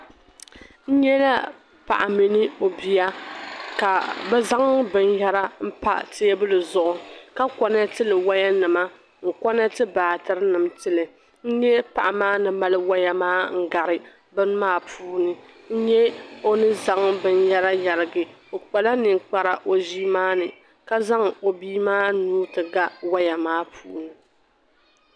N nyɛla paɣa mini ɔ biya ka bɛ zaŋ bin yara n pa teebuli zuɣu, ka konetili waya nima n koneti baater nim ntili n nyɛ paɣa maa ni mali waya maa n gari bini maa puuni, n nyɛ ɔni zaŋ bin yara n yarigi ɔ kpala nin kpara ɔʒii maa ni ka zaŋ ɔ bii maa nuu ti ga waya, maa puuni,